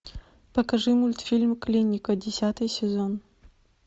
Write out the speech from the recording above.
покажи мультфильм клиника десятый сезон